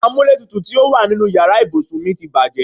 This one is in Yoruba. Amúlétutù tí ó wà nínú ìyára ibùsùn mi ti bàjẹ́.